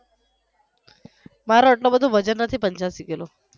મારો એટલો બધો વજન નથી પંચ્યાશી કિલો